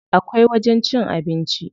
Akwai wajen cin abinci.